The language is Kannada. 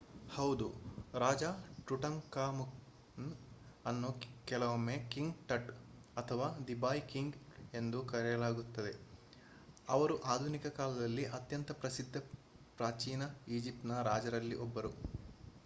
ಹೌದು ರಾಜ ಟುಟಾಂಖಾಮುನ್ ಅನ್ನು ಕೆಲವೊಮ್ಮೆ ಕಿಂಗ್ ಟಟ್ ಅಥವಾ ದಿ ಬಾಯ್ ಕಿಂಗ್ ಎಂದು ಕರೆಯಲಾಗುತ್ತದೆ ಇವರು ಆಧುನಿಕ ಕಾಲದಲ್ಲಿ ಅತ್ಯಂತ ಪ್ರಸಿದ್ಧ ಪ್ರಾಚೀನ ಈಜಿಪ್ಟಿನ ರಾಜರಲ್ಲಿ 1ರು